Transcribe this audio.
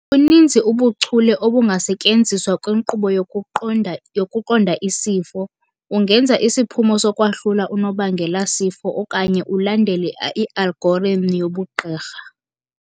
Buninzi ubuchule obungasetyenziswa kwinqkubo yokuqonda isifo, ungenza isiphumo sokwahlula unobangelasifo okanye ulandele i-algorithm yobugqirha.